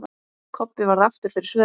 Kobbi varð aftur fyrir svörum.